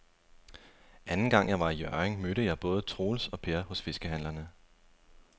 Anden gang jeg var i Hjørring, mødte jeg både Troels og Per hos fiskehandlerne.